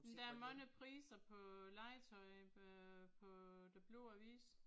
Men der er mange priser på legetøj øh på Den Blå Avis